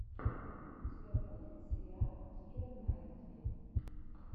у тебя будет сериал кира найтли